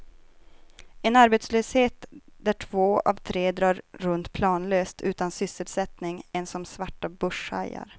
En arbetslöshet där två av tre drar runt planlöst, utan sysselsättning ens som svarta börshajar.